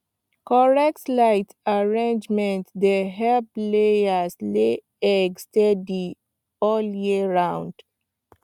correct light arrangement dey help layers lay egg steady all year round